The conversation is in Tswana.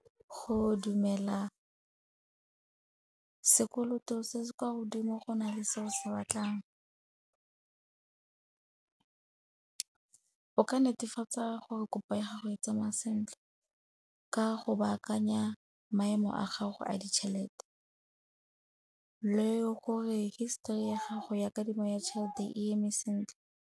Go dumela sekoloto se se kwa godimo go na le seo se batlang. O ka netefatsa gore kopa ya gago e tsamaya sentle ka go baakanya maemo a gago a ditšhelete le gore histori ya gago ya kadimo ya tšhelete e eme sentle.